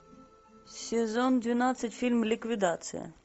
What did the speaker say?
сезон двенадцать фильм ликвидация